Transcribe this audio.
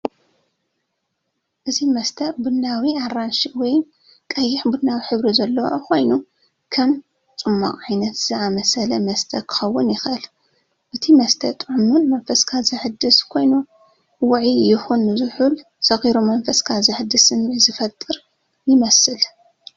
እዚ መስተ ቡናዊ-ኣራንሺ ወይ ቀይሕ-ቡናዊ ሕብሪ ዘለዎ ኮይኑ፡ ከም ጽማቝ፡ ዓይነት ዝኣመሰለ መስተ ክኸውን ይኽእል። እቲ መስተ ጥዑምን መንፈስካ ዘሐድስን ኮይኑ፡ ውዑይ ይኹን ዝሑል ሰኺሩ መንፈስካ ዘሐድስ ስምዒት ዝፈጥር ይመስል።